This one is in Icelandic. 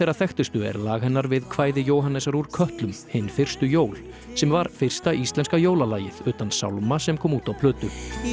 þekktustu er lag hennar við kvæði Jóhannesar úr kötlum Hin fyrstu jól sem var fyrsta íslenska jólalagið utan sálma sem kom út á plötu